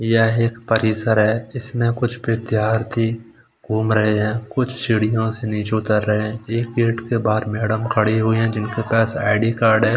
यह एक परिसर है इसमें कुछ विद्यार्थी घूम रहे हैं कुछ सीढियों से नीचे उतर रहे हैं एक गेट के बाहर एक मैडम खड़ी हुई है जिनके पास आई डी कार्ड है।